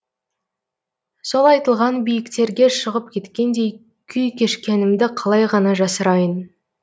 сол айтылған биіктерге шығып кеткендей күй кешкенімді қалай ғана жасырайын